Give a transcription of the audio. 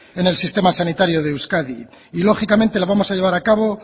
en el sistema sanitario de euskadi y lógicamente lo vamos a llevar a cabo